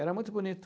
Era muito bonito.